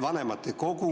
Vanematekogu